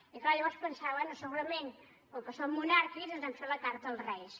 i clar llavors pensava bé segurament com que són monàrquics doncs han fet la carta als reis